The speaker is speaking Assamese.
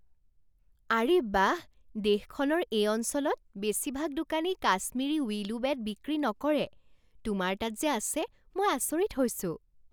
আৰে বাহ! দেশখনৰ এই অঞ্চলত বেছিভাগ দোকানেই কাশ্মিৰী উইলো বেট বিক্ৰী নকৰে। তোমাৰ তাত যে আছে মই আচৰিত হৈছোঁ।